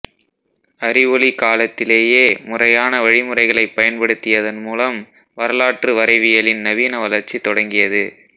அறிவொளிக் காலத்திலேயே முறையான வழிமுறைகளைப் பயன்படுத்தியதன் மூலம் வரலாற்றுவரைவியலின் நவீன வளர்ச்சி தொடங்கியது